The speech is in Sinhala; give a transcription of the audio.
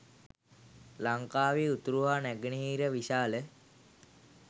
ලංකාවේ උතුරු හා නැගෙනහිර විශාල